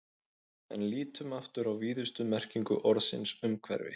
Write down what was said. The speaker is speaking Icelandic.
En lítum aftur á víðustu merkingu orðsins umhverfi.